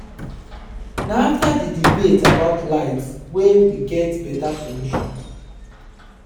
na afta di debate about light wey we get beta solution.